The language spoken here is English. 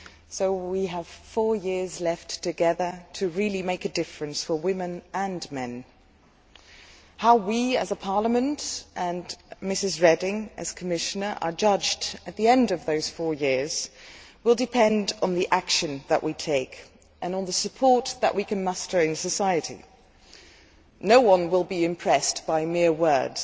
So we have four years left together to really make a difference for women and men. How we as a Parliament, and Ms Reding as Commissioner, are judged at the end of those four years will depend on the action that we take and on the support that we can muster in society. No one will be impressed by mere words.